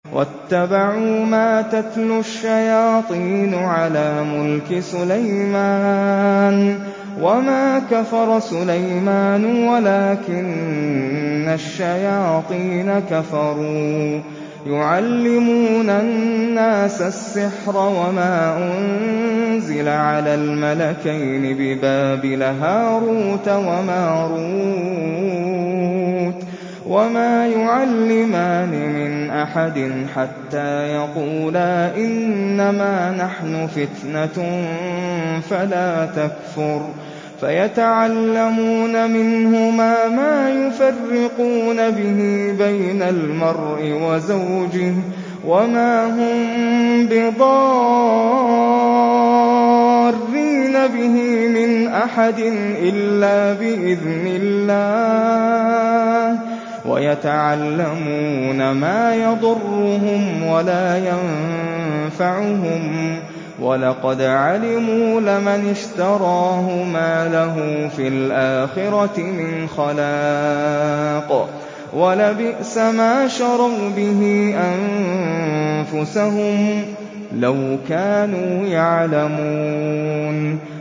وَاتَّبَعُوا مَا تَتْلُو الشَّيَاطِينُ عَلَىٰ مُلْكِ سُلَيْمَانَ ۖ وَمَا كَفَرَ سُلَيْمَانُ وَلَٰكِنَّ الشَّيَاطِينَ كَفَرُوا يُعَلِّمُونَ النَّاسَ السِّحْرَ وَمَا أُنزِلَ عَلَى الْمَلَكَيْنِ بِبَابِلَ هَارُوتَ وَمَارُوتَ ۚ وَمَا يُعَلِّمَانِ مِنْ أَحَدٍ حَتَّىٰ يَقُولَا إِنَّمَا نَحْنُ فِتْنَةٌ فَلَا تَكْفُرْ ۖ فَيَتَعَلَّمُونَ مِنْهُمَا مَا يُفَرِّقُونَ بِهِ بَيْنَ الْمَرْءِ وَزَوْجِهِ ۚ وَمَا هُم بِضَارِّينَ بِهِ مِنْ أَحَدٍ إِلَّا بِإِذْنِ اللَّهِ ۚ وَيَتَعَلَّمُونَ مَا يَضُرُّهُمْ وَلَا يَنفَعُهُمْ ۚ وَلَقَدْ عَلِمُوا لَمَنِ اشْتَرَاهُ مَا لَهُ فِي الْآخِرَةِ مِنْ خَلَاقٍ ۚ وَلَبِئْسَ مَا شَرَوْا بِهِ أَنفُسَهُمْ ۚ لَوْ كَانُوا يَعْلَمُونَ